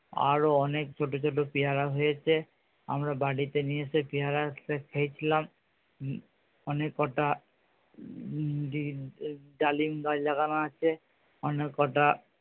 আরো অনেক ছোটো ছোটো পেয়ারা হয়েছে। আমরা বাড়িতে নিয়ে এসে পেয়ারাটা খেয়েছিলাম উম অনেক কটা ডালিম গাছ লাগানো আছে অনেক কটা